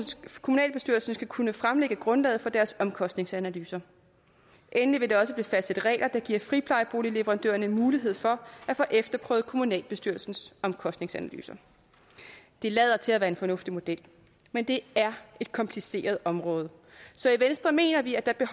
kommunalbestyrelsen skal kunne fremlægge grundlaget for deres omkostningsanalyser endelig vil der også blive fastsat regler der giver friplejeboligleverandørerne mulighed for at få efterprøvet kommunalbestyrelsens omkostningsanalyser det lader til at være en fornuftig model men det er et kompliceret område så i venstre mener vi at der er